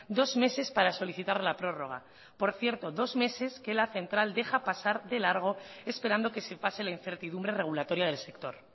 dos meses para solicitar la prórroga por cierto dos meses que la central deja pasar de largo esperando que se pase la incertidumbre regulatoria del sector